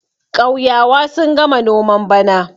ƙauyawa sun gama noman bana